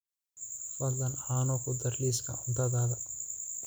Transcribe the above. fadlan caano ku dar liiska cuntadayda